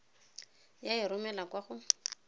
ya e romela kwa go